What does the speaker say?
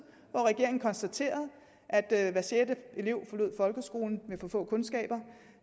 hvor regeringen konstaterede at hver sjette elev forlod folkeskolen med for få kundskaber